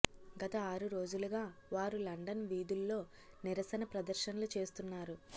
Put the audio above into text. గత ఆరు రోజులుగా వారు లండన్ వీధుల్లో నిరసన ప్రదర్శనలు చేస్తున్నారు